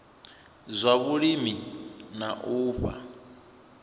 zwa vhulimi na u fha